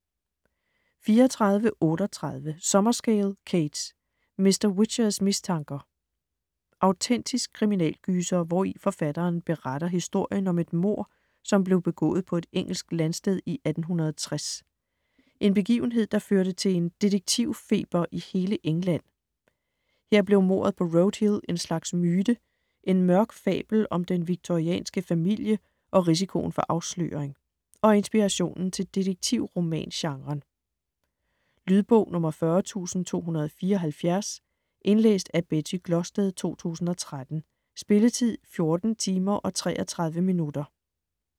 34.38 Summerscale, Kate: Mr Whichers mistanker Autentisk kriminalgyser hvori forfatteren beretter historien om et mord som blev begået på et engelsk landsted i 1860. En begivenhed der førte til en "detektivfeber" i hele England. Her blev mordet på Road Hill en slags myte - en mørk fabel om den victorianske familie og risikoen for afsløring. Og inspirationen til detektivromangenren. Lydbog 40274 Indlæst af Betty Glosted, 2013. Spilletid: 14 timer, 33 minutter.